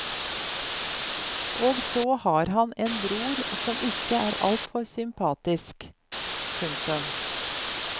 Og så har han en bror som ikke er alt for sympatisk. punktum